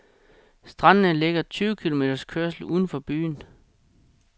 Strandene ligger tyve kilometers kørsel uden for byen.